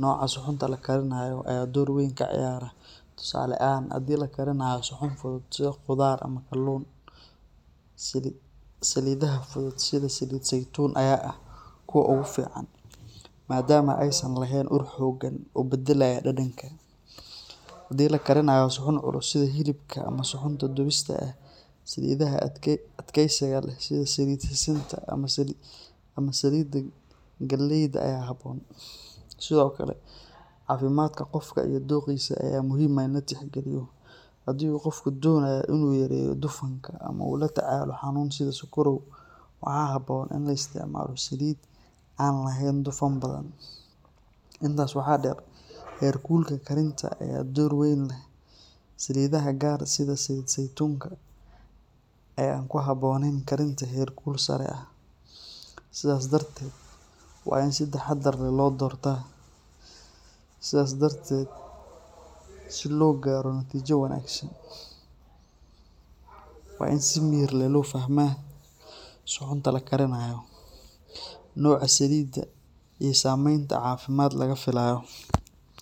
nooca suxuunta la karinayo ayaa door weyn ka ciyaara, tusaale ahaan, haddii la karinayo suxuun fudud sida khudaar ama kalluun, saliidaha fudud sida saliid saytuun ayaa ah kuwa ugu fiican maadaama aysan lahayn ur xooggan oo beddelaya dhadhanka. Haddii la karinayo suxuun culus sida hilibka ama suxuunta dubista ah, saliidaha adkeysiga leh sida saliidda sisinta ama saliidda galleyda ayaa habboon. Sidoo kale, caafimaadka qofka iyo dookhiisa ayaa muhiim ah in la tixgeliyo, haddii uu qofku doonayo in uu yareeyo dufanka ama uu la tacaalayo xanuun sida sokorow, waxaa habboon in la isticmaalo saliidda aan lahayn dufan badan. Intaas waxaa dheer, heerkulka karinta ayaa door weyn leh, saliidaha qaar sida saliid saytuunka ayaa aan ku habboonayn karinta heerkul sare ah, sidaas darteed waa in si taxadar leh loo doortaa. Sidaa darteed, si loo gaaro natiijo wanaagsan, waa in si miyir leh loo fahmaa suxuunta la karinayo, nooca saliidda iyo saameynta caafimaad ee laga filayo.